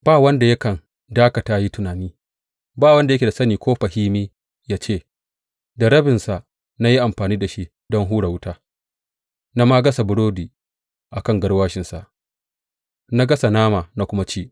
Ba wanda yakan dakata ya yi tunani, ba wanda yake da sani ko fahimi ya ce, Da rabinsa na yi amfani da shi don hura wuta; na ma gasa burodi a kan garwashinsa, na gasa nama na kuma ci.